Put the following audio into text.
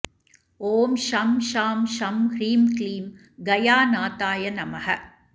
ॐ शं शां षं ह्रीं क्लीं गयानाथाय नमः